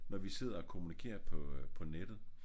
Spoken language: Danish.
Når vi sidder og kommunikerer på øh på nettet